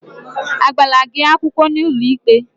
Agbala gị akwụkwọ n'ụlọikpe?